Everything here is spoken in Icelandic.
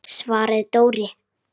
svaraði Dóri.